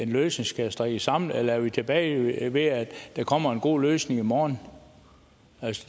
løsning skal strikkes sammen eller er vi tilbage ved at der kommer en god løsning i morgen